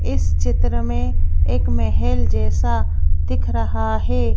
इस चित्र में एक महल जैसा दिख रहा है।